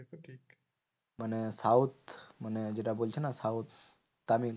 মানে south মানে যেটা বলছে না? south তামিল